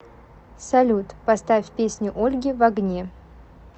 салют поставь песню ольги в огне